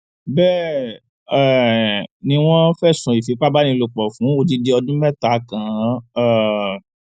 bẹẹ um ni wọn fẹsùn ìfipábánilòpọ fún odidi ọdún mẹta kàn án um